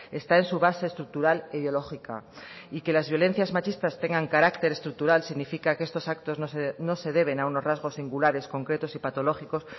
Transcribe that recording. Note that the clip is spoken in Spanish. está en su base estructural ideológica y que las violencias machistas tengan carácter estructural significa que estos actos no se deben a unos rasgos singulares concretos y patológicos